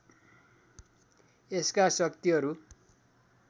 यसका शक्तिहरू